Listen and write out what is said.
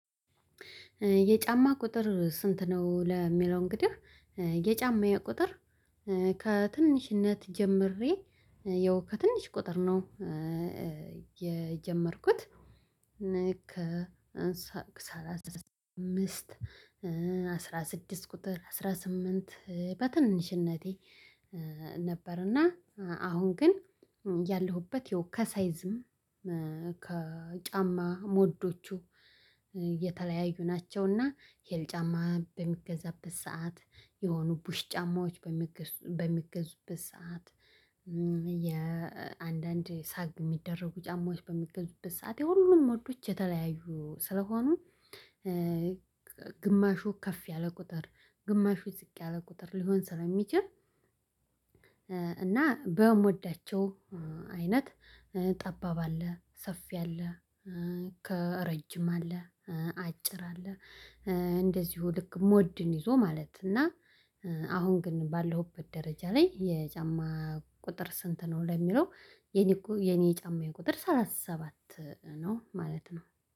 የጫማ ቁጥር ስንት ነው? ለሚለው እንግዲህ የጫማዬ ቁጥር ከትንሽነት ጀምሬ ያው ከትንሽ ቁጥር ነው ኧ የጀመርኩት ልክ ሰላሳ አምስት አስራ ስድስት ቁጥር አስራ ስምንት በትንሽነቴ ነበር። እና አሁን ግን ያለሁበት ያው ከሳይዝም ከጫማ ሞዶቹ የተለያዩ ናቸውና ሄል ጫማ በሚገዛበት ሰዓት የሆኑ ቡሽ ጫማዎች በሚገዙ በሚገዙበት ሰዓት። የአንዳንድ ሳግ ሚደረጉ ጫማዎች በሚገዙበት ሰዓት የሁሉም ሞዶች የተለያዩ ስለሆኑ ግማሹ ከፍ ያለ ቁጥር ግማሹ ዝቅ ያለ ቁጥር ሊሆን ስለሚችል። እና በሞዳቸው አይነት ጠባብ አለ ሰፊ አለ ከ ረጅም አለ አጭር አለ። እንደዚሁ ልክ ሞድን ይዞ ማለት እና። አሁን ግን ባለሁበት ደረጃ ላይ የጫማ ቁጥር ስንት ነው ለሚለው የኔኮ የኔ የጫማየ ቁጥር ሰላሳ ሰባት ነው። ማለት ነው።